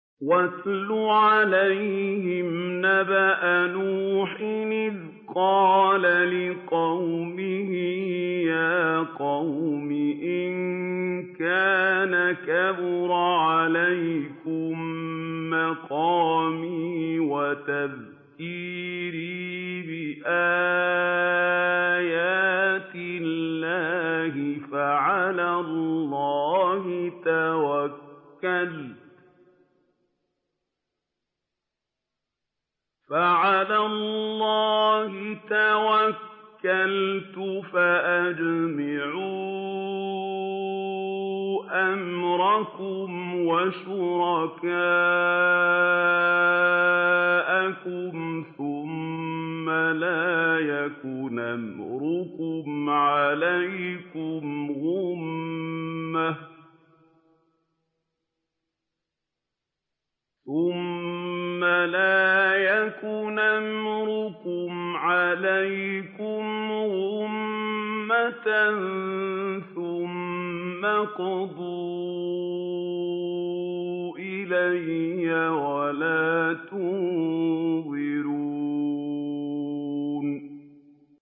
۞ وَاتْلُ عَلَيْهِمْ نَبَأَ نُوحٍ إِذْ قَالَ لِقَوْمِهِ يَا قَوْمِ إِن كَانَ كَبُرَ عَلَيْكُم مَّقَامِي وَتَذْكِيرِي بِآيَاتِ اللَّهِ فَعَلَى اللَّهِ تَوَكَّلْتُ فَأَجْمِعُوا أَمْرَكُمْ وَشُرَكَاءَكُمْ ثُمَّ لَا يَكُنْ أَمْرُكُمْ عَلَيْكُمْ غُمَّةً ثُمَّ اقْضُوا إِلَيَّ وَلَا تُنظِرُونِ